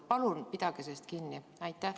Palun pidage sellest kinni!